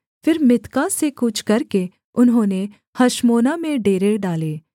फिर मित्का से कूच करके उन्होंने हशमोना में डेरे डाले